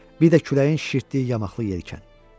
Bir də küləyin şişirtdiyi yamaxlı yelkən.